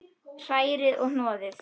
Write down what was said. Hrærið og hnoðið.